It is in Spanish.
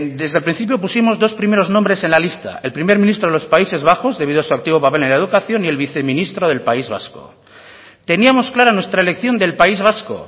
desde el principio pusimos dos primeros nombres en la lista el primer ministro de los países bajos debido a su activo papel en la educación y el viceministro del país vasco teníamos claro nuestra elección del país vasco